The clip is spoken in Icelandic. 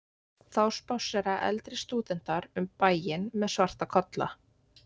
þá spássera eldri stúdentar um bæinn með svarta kolla